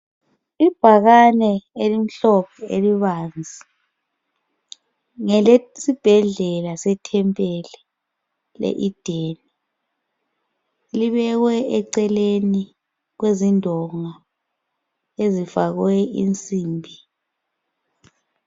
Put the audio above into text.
Ibhakane elimhlophe elibanzi ngelesibhedlela sethempeli le Ideni libekwe eceleni kwezindonga ezifakwe insimbi.